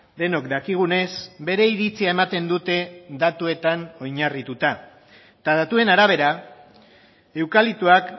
denok dakigunez bere iritzia ematen dute datuetan oinarrituta eta datuen arabera eukaliptoak